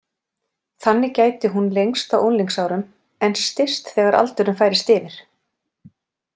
Þannig gæti hún lengst á unglingsárum en styst þegar aldurinn færist yfir.